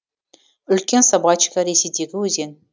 үлкен собачка ресейдегі өзен